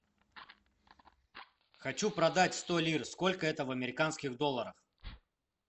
хочу продать сто лир сколько это в американских долларах